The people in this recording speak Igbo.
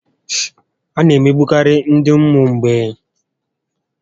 A na emegbukarị ndị ụmụ mgbei